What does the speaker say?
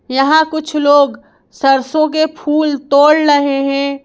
यहां कुछ लोग सरसों के फूल तोड़ रहे हैं।